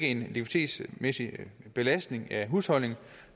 en likviditetsmæssig belastning af husholdningen